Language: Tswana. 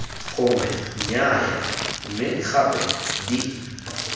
gongwe nnyaya mme gape d